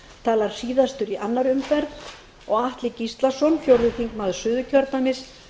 talar síðastur í annarri umferð og atli gíslason fjórði þingmaður suðurkjördæmis